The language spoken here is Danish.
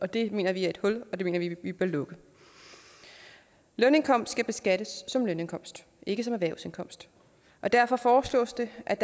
det mener vi er et hul og det mener vi vi bør lukke lønindkomst skal beskattes som lønindkomst ikke som erhvervsindkomst og derfor foreslås det at